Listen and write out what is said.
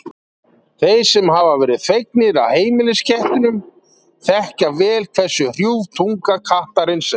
Þeir sem hafa verið þvegnir af heimiliskettinum þekkja vel hversu hrjúf tunga kattarins er.